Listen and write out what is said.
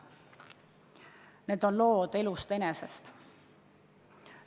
Need on lood elust enesest.